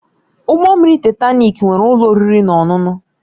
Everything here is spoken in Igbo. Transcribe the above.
Ụgbọ mmiri Taịtanik nwere ụlọ oriri na ọṅụṅụ